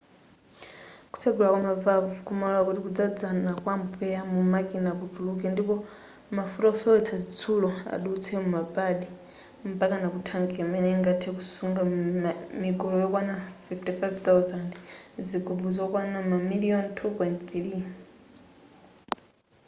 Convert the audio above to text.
kutsegula kwama valve kumalora kuti kudzadzana kwa mpweya mu makina kutuluke ndipo mafuta ofewetsa zitsulo adutse muma pad mpakana ku thanki imene ingathe kusunga migolo yokwana 55,000 zigubu zokwana mamiliyoni 2.3